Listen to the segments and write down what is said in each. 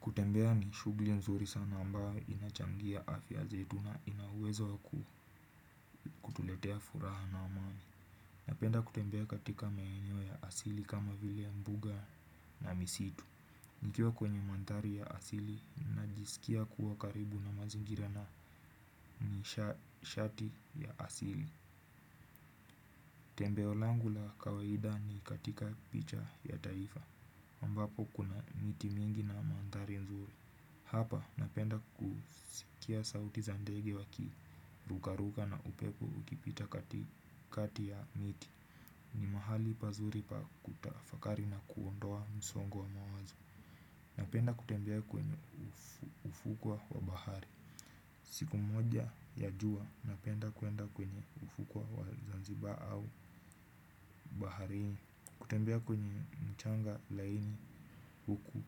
Kutembea ni shugli nzuri sana ambao inachangia afya zetu na ina uwezo wa kutuletea furaha na amani. Napenda kutembea katika maeneo ya asili kama vile mbuga na misitu. Nikiwa kwenye manthari ya asili, najisikia kuwa karibu na mazingira na nishati ya asili. Tembeo langu la kawaida ni katika picha ya taifa. Ambapo kuna miti mingi na manthari nzuri. Hapa napenda kusikia sauti za ndege wakirukaruka na upepo ukipita katikati ya miti. Ni mahali pazuri pa kutafakari na kuondoa msongo wa mawazo. Napenda kutembea kwenye ufukwa wa bahari. Siku moja ya juwa napenda kwenda kwenye ufukwa wa Zanzibar au baharini. Kutembea kwenye mchanga laini huku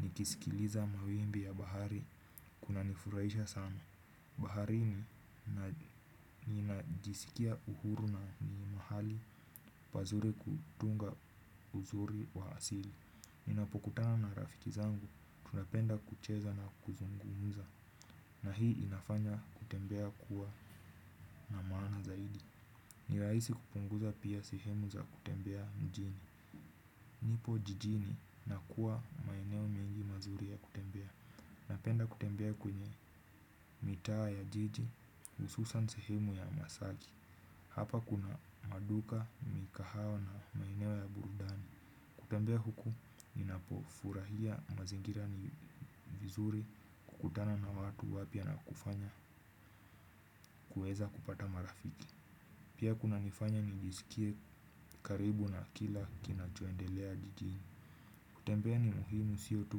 nikisikiliza mawimbi ya bahari kunanifuraisha sana. Baharini ninajisikia uhuru na ni mahali pazuri kutunga uzuri wa asili. Ninapokutana na rafiki zangu tunapenda kucheza na kuzungumuza na hii inafanya kutembea kuwa na maana zaidi. Ni raisi kupunguza pia sehemu za kutembea mjini. Nipo jijini na kuwa maeneo mengi mazuri ya kutembea. Napenda kutembea kwenye mitawa ya jiji, ususan sehemu ya masaji. Hapa kuna maduka, mikahawa na maeneo ya burudani. Kutembea huku, ninapofurahia mazingira ni vizuri kukutana na watu wapya na kufanya kuweza kupata marafiki. Pia kunanifanya nijiskie karibu na kila kinachoendelea jijini. Kutembea ni muhimu siyo tu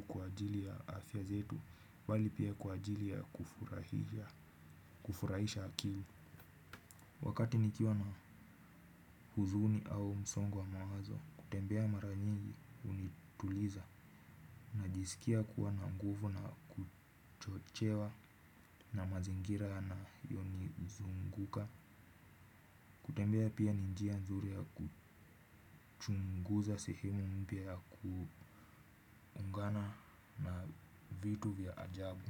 kwa ajili ya afya zetu bali pia kwa ajili ya kufurahisha akili. Wakati nikiwa na huzuni au msongo wa mawazo, kutembea mara nyingi unituliza, najisikia kuwa na nguvu na kuchochewa na mazingira yanayo ni zunguka. Kutembea pia ni njia nzuri ya kuchunguza sehemu mpya ya kuungana na vitu vya ajabu.